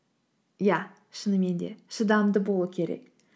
иә шынымен де шыдамды болу керек